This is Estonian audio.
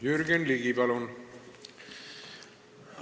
Jürgen Ligi, palun!